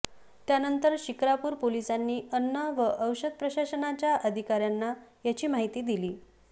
त्यांनतर शिक्रापूर पोलिसांनी अन्न व औषध प्रशासनाच्या अधिकाऱ्यांना याची माहिती दिली